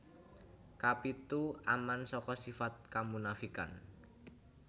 Kapitu Aman saka sifat kamunafikan